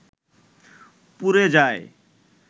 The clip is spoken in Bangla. পুড়ে যায়